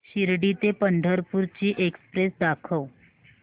शिर्डी ते पंढरपूर ची एक्स्प्रेस दाखव